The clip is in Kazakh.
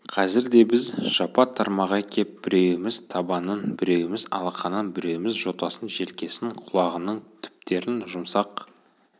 қазір де біз жапа-тармағай кеп біреуіміз табанын біреуіміз алақанын біреуіміз жотасын желкесін құлағының түптерін жұмсақ